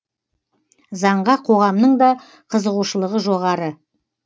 заңға қоғамның да қызығушылығы жоғары